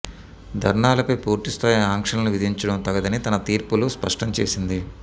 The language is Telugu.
ధర్నాలపై పూర్తిస్థాయి ఆంక్షలను విధించడం తగదని తన తీర్పులో స్పష్టం చేసింది